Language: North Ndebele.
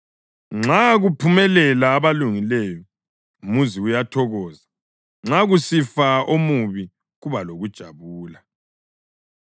Nxa kuphumelela abalungileyo umuzi uyathokoza; nxa kusifa omubi kuba lokujabula.